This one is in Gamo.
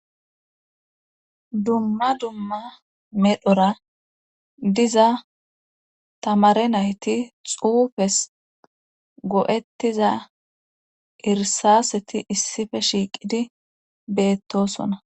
Dumma dumma medhera diza tamare nayti xuufes go7ettida irssaaseti issipe shiiqidi beettoosona